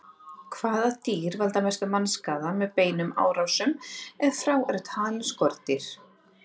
Hvaða dýr valda mestum mannskaða með beinum árásum, ef frá eru talin skordýr?